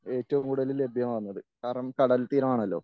ഏറ്റവും കൂടുതൽ ലഭ്യമാകുന്നത്. കാരണം കടൽത്തീരമാണല്ലോ?